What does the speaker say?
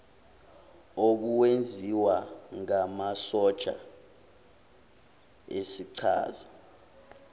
obuwenziwa ngamasotsha esichaza